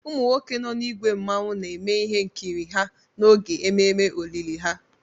Umu nwoke nọ n'ìgwè mmawụ na-eme ihe nkịrị ha n'oge ememe olili ha.